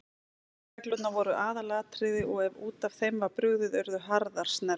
Leikreglurnar voru aðalatriði og ef út af þeim var brugðið urðu harðar snerrur.